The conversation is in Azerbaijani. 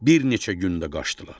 Bir neçə gün də qaçdılar.